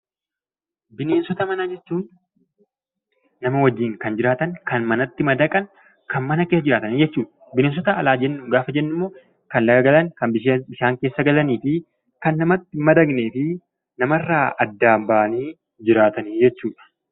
Bineensota manaa jechuun nama wajjin kan jiraatan, kan manatti madaqan, kan mana keessa jiraatan jechuudha. Bineensota alaa jechuun immoo kan laga galan, kan bishaan keessa galanii fi kan namatti hin madaqnee fi addaan bahanii jiraatan jechuudha.